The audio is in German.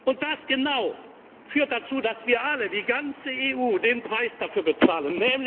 Und das genau führt dazu, dass wir alle, die ganze EU den Preis dafür bezahlen.